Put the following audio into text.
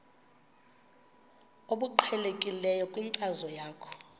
obuqhelekileyo kwinkcazo yakho